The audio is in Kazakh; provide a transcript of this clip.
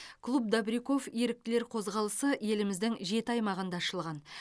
клуб добряков еріктілер қозғалысы еліміздің жеті аймағында ашылған